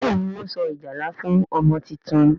Béèni Wón so ìjálá fún ọmọ títún.